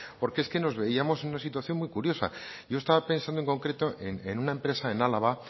porque es que nos veíamos en una situación muy curiosa yo estaba pensado en concreto en una empresa en álava